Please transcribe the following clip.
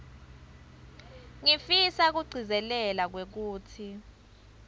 ngifisa kugcizelela kwekutsi